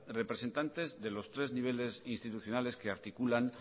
representantes de los tres niveles institucionales que articulan